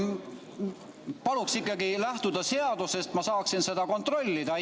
Palun ikkagi lähtuda seadusest, et ma saaksin seda kontrollida!